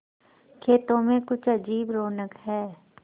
खेतों में कुछ अजीब रौनक है